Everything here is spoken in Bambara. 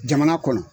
Jamana kɔnɔ